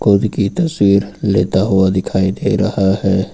खुद की तस्वीर लेता हुआ दिखाई दे रहा है।